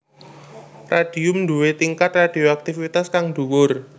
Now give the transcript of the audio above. Radium duwé tingkat radioaktivitas kang dhuwur